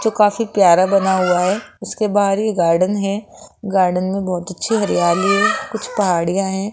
जो काफी प्यारा बना हुआ है उसके बाहर ही गार्डन है गार्डन में बहुत अच्छी हरियाली है कुछ पहाड़ियां हैं।